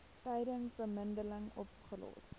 tydens bemiddeling opgelos